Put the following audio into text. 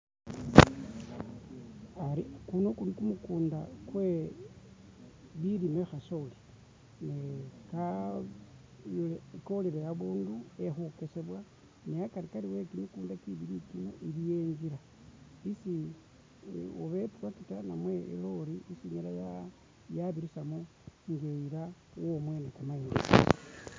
Ari kuno kuli ku mukunda kwe bilime khasoli ne ka kolele abundu e khukesebwa ne akarikari e kyimikunda kyibili kino iliwo ingila isi oba i tractor oba i lorry isi inyala yabirisamo nga iyila womwene kamayindi.